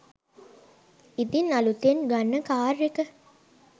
ඉතින් අලුතෙන් ගන්න කාර් එක